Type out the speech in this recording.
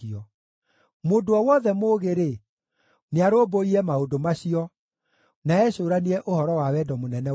Mũndũ o wothe mũũgĩ-rĩ, nĩarũmbũiye maũndũ macio, na ecũũranie ũhoro wa wendo mũnene wa Jehova.